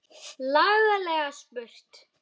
Laglega spurt!